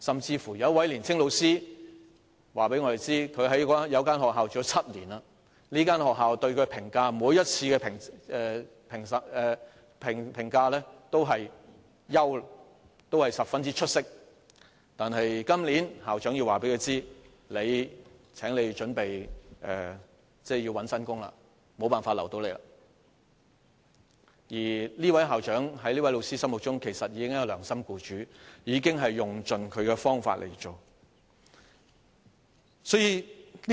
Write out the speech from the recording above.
有一位年青教師甚至告訴我們，他在一所學校任職7年，學校每次對他的評價都是表現優良及十分出色，但校長今年告訴他，請他準備尋找新的工作，學校無法留下他了，而這位校長在這位教師的心中，其實已經是一位良心僱主，已經用盡他的方法來協助他。